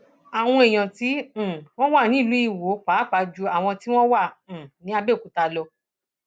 àwọn èèyàn tí um wọn wà ní ìlú iwọ pàápàá ju àwọn tí wọn wà um ní àbẹòkúta lọ